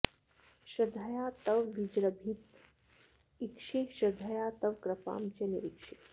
श्रद्धया तव विजृभितमीक्षे श्रद्धया तव कृपां च निरीक्षे